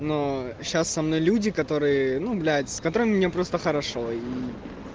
но сейчас со мной люди которые ну блять с которыми мне просто хорошо и